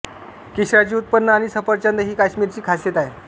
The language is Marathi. केशराचे उत्पन्न आणि सफरचंद ही काश्मीरची खासियत आहे